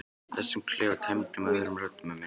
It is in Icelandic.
Og þessum klefa tæmdum af öðrum röddum en minni.